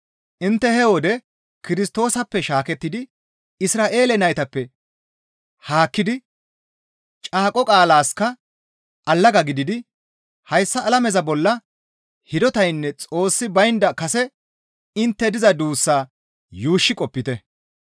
Intte he wode Kirstoosappe shaakettidi, Isra7eele naytappe haakkidi, caaqo qaalaska allaga gididi, hayssa alameza bolla hidotaynne Xoossi baynda kase intte diza duussaa yuushshi qopite.